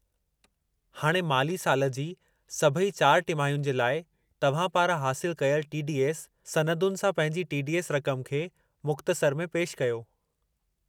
हाणे माली साल जी सभई 4 टिमाहियुनि जे लाइ तव्हां पारां हासिलु कयलु टी. डी. एस. सनदुनि सां पंहिंजी टी. डी. एस. रक़म खे मुख़्तसर में पेशि कयो।